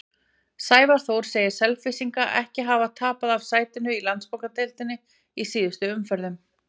Sævar Þór segir Selfyssinga ekki hafa tapað af sætinu í Landsbankadeildinni í síðustu umferðunum.